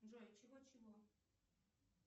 джой чего чего